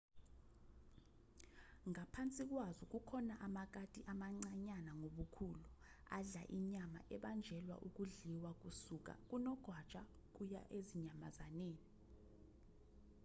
ngaphansi kwazo kukhona amakati amancanyana ngobukhulu adla inyama ebanjelwa ukudliwakusuka kunogwaja kuya ezinyamazaneni